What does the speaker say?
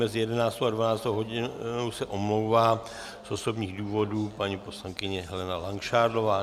Mezi 11. a 12. hodinou se omlouvá z osobních důvodů paní poslankyně Helena Langšádlová.